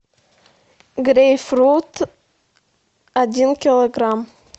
грейпфрут один килограмм